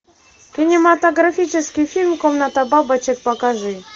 кинематографический фильм комната бабочек покажи